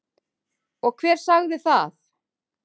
Og hver sagði það?